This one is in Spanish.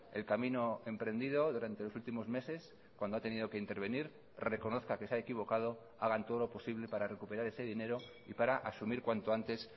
el camino emprendido durante los últimos meses cuando ha tenido que intervenir reconozca que se ha equivocado hagan todo lo posible para recuperar ese dinero y para asumir cuanto antes